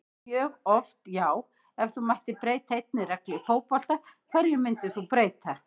mjög oft já Ef þú mættir breyta einni reglu í fótbolta, hverju myndir þú breyta?